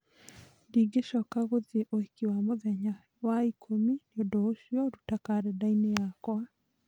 ndingĩcoka gũthiĩ ũhiki wa mũthenya wa ikũmi nĩ ũndũ ũcio ruta kalendarĩ-inĩ yakwa